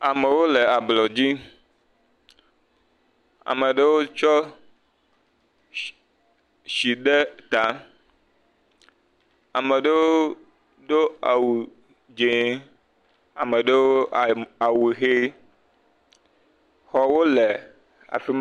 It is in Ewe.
Ameo le ablɔdzi. Ame ɖewo tsɔ shhh, shi ɖe ta. Ame ɖewo do awu dzẽ. Ameɖewo am, awu ʋee. Xɔwo le afi ma.